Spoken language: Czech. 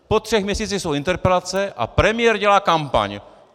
Po třech měsících jsou interpelace a premiér dělá kampaň!